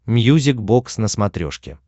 мьюзик бокс на смотрешке